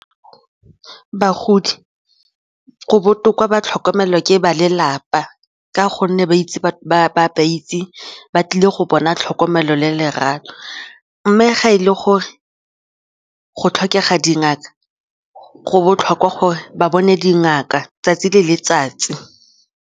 Bagodi go botoka ba tlhokomelwa ke ba lelapa ka gonne ba ba itseng ba tlile go bona tlhokomelo le lerato mme ga e le gore go tlhokega dingaka, go botlhokwa gore ba bone dingaka 'tsatsi le letsatsi.